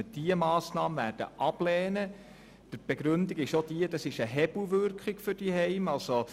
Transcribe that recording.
Die Begründung für die Ablehnung ist die, dass es sich um eine Hebelwirkung für die Heime handelt: